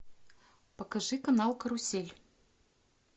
покажи канал карусель